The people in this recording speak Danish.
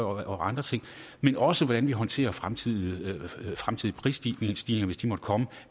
og andre ting men også hvordan vi håndterer fremtidige prisstigninger hvis de måtte komme